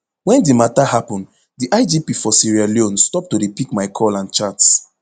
wen di mata happun di igp for sierra leone stop to dey pick my call and chats